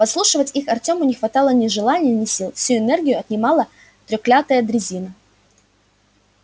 подслушивать их артёму не хватало ни желания ни сил всю энергию отнимала трёклятая дрезина